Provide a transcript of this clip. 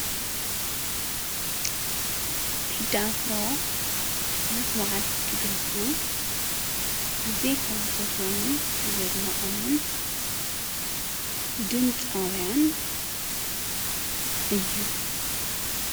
ቴዲ ኣፍሮ ምስ ባዓልቲ ገዝኡ ኣዝየ ካብ ዝፈትዎምን ዘድንቀምን ድምፃውያን እዩ።